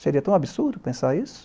Seria tão absurdo pensar isso?